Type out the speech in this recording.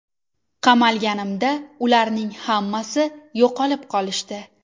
Qamalganimda ularning hammasi yo‘qolib qolishdi.